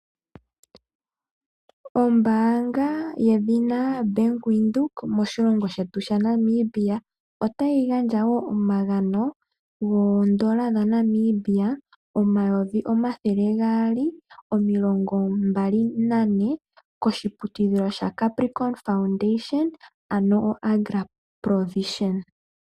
Ombaanga yedhina bank windhoek moshilomgo shetu sha Namibia, otayi gandja woo omagano woondola dha Namibia omayovi omathele gaali omilongo mbali nane koshi putudhilo sha capricon foundation ano o agra provision.